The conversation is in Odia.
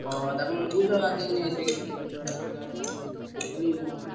ଅହୋ ତାକୁ ନହେଲେ ବୁଝ ଆଜି ଯାଇ ନେଇଆସିଆ କିଛି ନାହିଁ। ଗୋଟେ ଗାଡି କିଣିଆ।